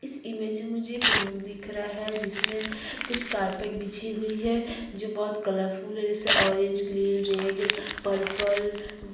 इस इमेज में मुझे एक रूम दिख रहा है जिसमे कुछ कारपेट बिछी हुई है जो बहुत कलर फुल है जैसे ऑरेंज ग्रीन रेड पर्पल --